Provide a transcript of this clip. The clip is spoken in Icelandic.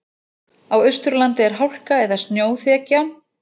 Á Austurlandi er hálka eða snjóþekja